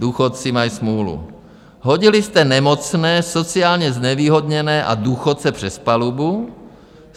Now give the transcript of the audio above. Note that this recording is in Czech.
Důchodci mají smůlu, hodili jste nemocné, sociálně znevýhodněné a důchodce přes palubu.